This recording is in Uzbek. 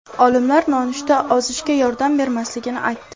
Olimlar nonushta ozishga yordam bermasligini aytdi.